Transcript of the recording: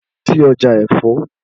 Lọ sí ọjà ẹ̀fọ́!